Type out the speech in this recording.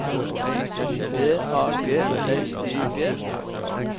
D A G L I G